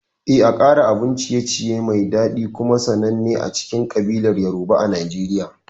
Eh, Akara abun ciye-ciye ne mai daɗi kuma sananne a cikin kabilar Yoruba a Najeriya.